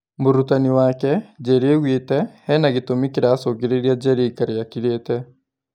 Mũrutani wake, Njeri augĩte, "Hena gĩtũmi kĩracũngĩrĩria Njeri aikare akirĩĩte"